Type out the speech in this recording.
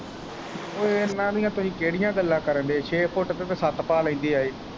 ਓ ਏਨਾ ਦੀਆਂ ਤੁਹੀਂ ਕਿਹੜੀਆਂ ਗੱਲਾਂ ਕਰਨ ਦੇ ਐ ਛੇ ਫੁੱਟ ਤੇ ਤਾਂ ਏਹ ਛੱਤ ਪਾ ਲੈਂਦੇ ਏਹ।